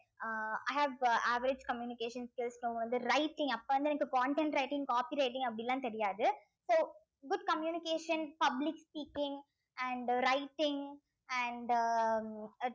ah i have uh average communication skill வந்து writing அப்ப இருந்தே எனக்கு content writing copy writing அப்படி எல்லாம் தெரியாது so good communication public speaking and writing and um ah